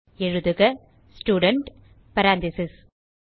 எழுதுக student parentheses